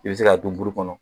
I bɛ se k'a dun buru kɔnɔ